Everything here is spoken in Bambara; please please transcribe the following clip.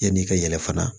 Yan'i ka yɛlɛ fana